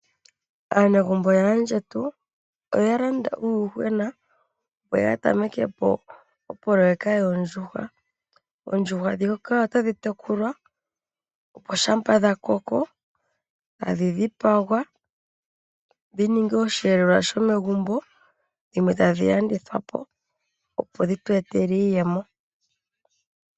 Aanegumbo yaandjetu oya landa uuyuhwena opo ya tameke po opoloweka yoondjuhwa. Oondjuhwa ndhika otadhi tekulwa, opo shapa dhakoko tadhi dhipagwa dhi ninge osheelelwa shomegumbo, dhimwe tadhi landithwa po opo dhi tweetele iiyemo.